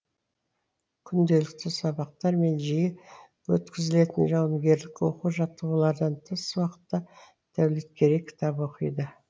күнделікті сабақтар мен жиі өткізілетін жауынгерлік оқу жаттығулардан тыс уақытта дәулеткерей кітап оқиды